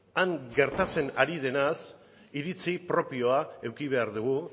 han gertatzen ari denaz iritzi propioa eduki behar dugu